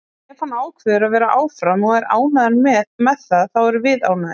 Ef hann ákveður að vera áfram og er ánægður með það þá erum við ánægðir.